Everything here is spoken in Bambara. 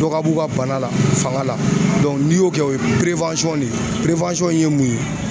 Dɔ ka b'u ka bana la fanga la n'i y'o kɛ o ye ne ye in ye mun ye